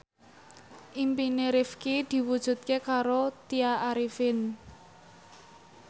impine Rifqi diwujudke karo Tya Arifin